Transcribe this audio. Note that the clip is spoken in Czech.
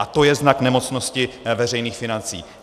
A to je znak nemocnosti veřejných financí.